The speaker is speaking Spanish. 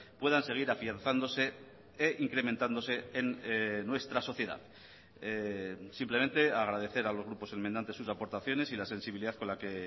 puedan seguir afianzándose e incrementándose en nuestra sociedad simplemente agradecer a los grupos enmendantes sus aportaciones y la sensibilidad con la que